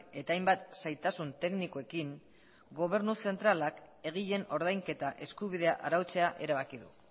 eta hainbat zailtasun teknikoekin gobernu zentralak egileen ordainketa eskubidea arautzea erabaki du